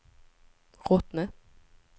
Rottne